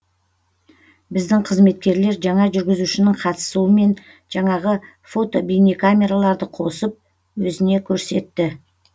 біздің қызметкерлер жаңа жүргізушінің қатысымен жаңағы фото бейне камераларды қосып өзіне көрсетті